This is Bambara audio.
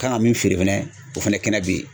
Kan ka min feere fɛnɛ o fɛnɛ kɛnɛ bɛ yen